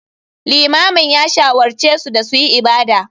Limamin ya shawarce su da su yi ibada.